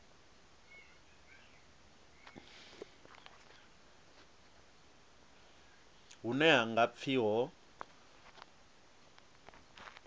hune ha nga pfi ho